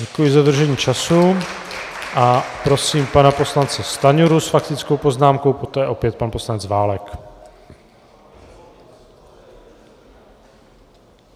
Děkuji za dodržení času a prosím pana poslance Stanjuru s faktickou poznámkou, poté opět pan poslanec Válek.